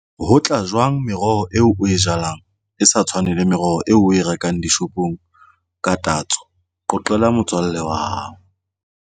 Ho tla jwang meroho eo o e jalang e sa tshwane le meroho eo o e rekang dishopong ka tatso. Qoqela motswalle wa hao.